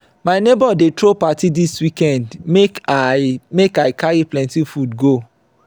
my neighbor dey throw party dis weekend make i make i carry plenty food go.